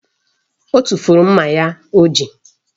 O tufuru mma ya o ji